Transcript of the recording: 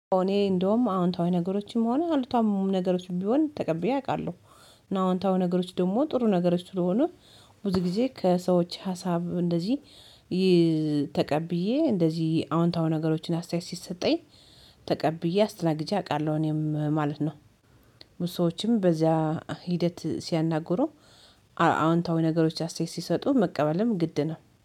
እኔ እንደውም አዎንታዊ ነገሮችም ሆነ አሉታዊ ነገሮችም ቢሆን ተቀብዬ አውቃለሁ። አዎንታዊ ነገሮች ደግሞ ጥሩ ነገሮች ስለሆኑ ብዙ ጊዜ ከሰዎች ሀሳብ እንደዚህ፤። ተቀብዬ እንደዚህ አዎንታዊ ነገሮችን አስተያየት ሲሰጠኝ ተቀብዬ አስተናግጂ አውቃለሁ እኔም ማለት ነው። ብዙ ሰዎችንም በዚያ ሂደት ሲያናግሩ አዎንታዊ ነገሮች ያስተያየት ሲሰጡ መቀበልም ግድ ነው